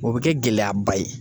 O be kɛ gɛlɛyaba ye.